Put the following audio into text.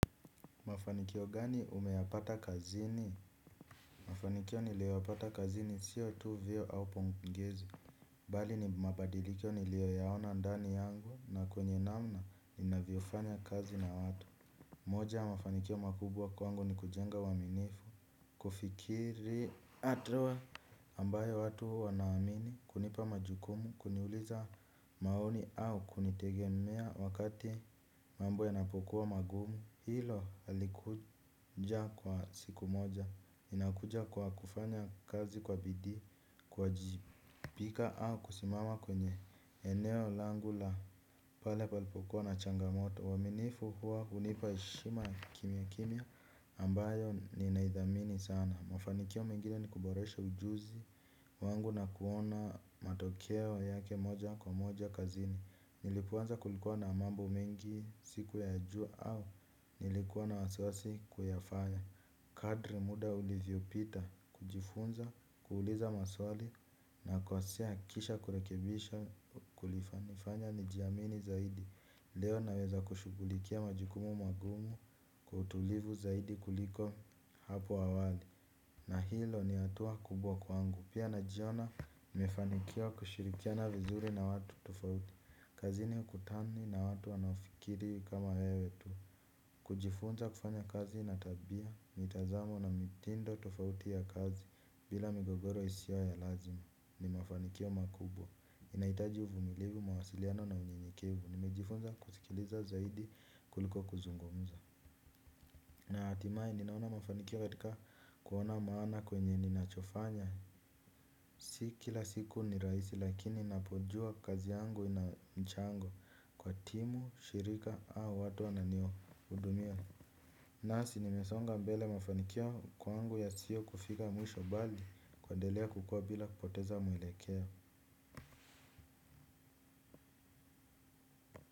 Mafanikio gani umeyapata kazini? Mafanikio niliyopata kazini siyo tu vio au pongezi. Bali ni mabadiliko niliyoyaona ndani yangu na kwenye namna ninavyofanya kazi na watu. Moja ya mafanikio makubwa kwangu ni kujenga uaminifu. Kufikiri hatua ambayo watu wanaamini kunipa majukumu kuniuliza maoni au kunitegemea wakati mambo yanapokuwa magumu. Hilo alikuja kwa siku moja. Ninakuja kwa kufanya kazi kwa bidii kuwajibika au kusimama kwenye eneo langu la pale palipokua na changamoto. Waaminifu huwa hunipa heshima ya kimya kimya ambayo ninaidhamini sana. Mafanikio mengine ni kuboresha ujuzi wangu na kuona matokeo yake moja kwa moja kazini. Nilipoanza kulikuwa na mambo mengi siku ya jua au nilikuwa na wasiwasi kuyafanya. Kadri muda ulivyopita kujifunza, kuuliza maswali nakosea kisha kurekebisha kulinifanya nijiamini zaidi. Leo naweza kushughulikia majukumu magumu kwa utulivu zaidi kuliko hapo awali. Na hilo ni hatua kubwa kwangu pia najiona nimefanikiwa kushirikiana vizuri na watu tofauti. Kazini kutani na watu wanaofikiri kama wewe tu. Kujifunza kufanya kazi na tabia, mitazamo na mitindo tofauti ya kazi bila migogoro isio ya lazima ni mafanikio makubwa. Inahitaji uvumilivu mawasiliano na unyenyekevu, nimejifunza kusikiliza zaidi kuliko kuzungumza. Na hatimaye ninaona mafanikio katika kuona maana kwenye ninachofanya. Si kila siku ni rahisi lakini napojua kazi yangu na mchango kwa timu, shirika au watu wananihudumia. Nasi nimesonga mbele mafanikio kwangu yasio kufika mwisho bali kuendelea kukua bila kupoteza mwelekeo.